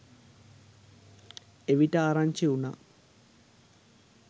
එවිට ආරංචි වුනා